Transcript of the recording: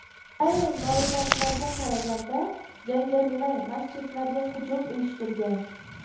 Ayrim ma’lumotlarga qaraganda, jangarilar masjidlarga hujum uyushtirgan.